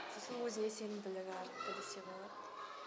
сосын өзіне сенімділігі артты десе болад